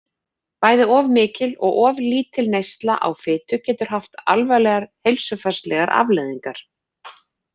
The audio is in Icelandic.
Bæði of mikil og of lítil neysla á fitu getur haft alvarlegar heilsufarslegar afleiðingar.